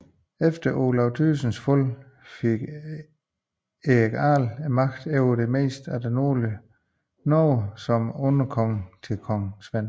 Efter Olav Tryggvasons fald fik Erik jarl magten over det meste af det nordlige Norge som underkonge til kong Svend